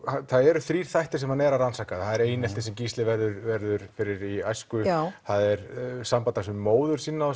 eru þrír þættir sem hann er að rannsaka það er eineltið sem Gísli verður verður fyrir í æsku það er samband hans við móður sína og